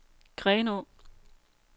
Grenå